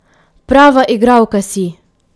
Prava igralka si!